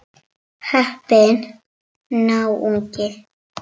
Heppinn náungi.